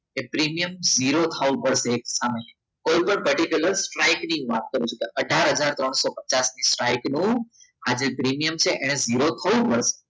એ premium zero થાવું પડશે કોઈ પણ particular સ્ટ્રાઈક ની વાત કરું છું અથાર હજાર ત્રણસો પચાસ ની સ્ટ્રાઈકનું આજે પ્રીમિયમ છે એને ઝીરો થવું પડશે